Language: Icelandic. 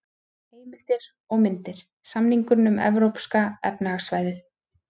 Heimildir og myndir: Samningurinn um Evrópska efnahagssvæðið.